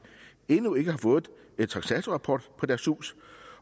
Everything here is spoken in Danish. endnu ikke har fået en taksatorrapport for deres hus